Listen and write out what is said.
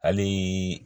Hali